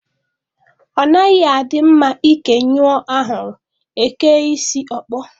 Ọ naghị adị mma ike nyụọ ahụrụ, e kee isi ọkpọ